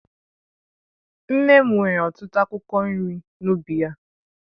Nne m nwere ọtụtụ akwụkwọ nri n'ubi ya